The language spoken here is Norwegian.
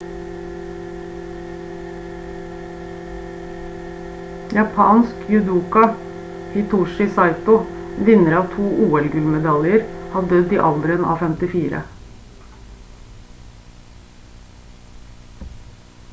japansk judoka hitoshi saito vinner av to ol-gullmedaljer har dødd i alderen av 54